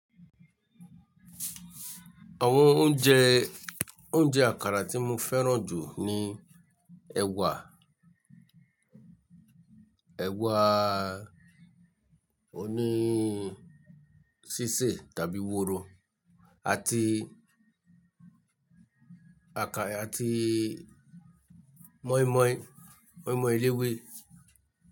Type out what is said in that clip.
Àwọn oúnjẹ, oúnjẹ àkàrà tí mo fẹ́ràn jù ni ẹ̀wà, ewa oni sise tabi woro àti àkàrà àti mọ́ímọ́í, mọ́ímọ́í eléwé.